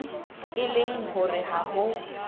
e leng hore ha ho